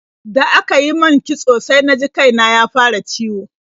Da aka yi min kitso sai na ji kai na ya fara ciwo.